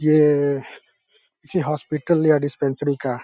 ये किसी हॉस्पिटल या डिस्पेंसरी का --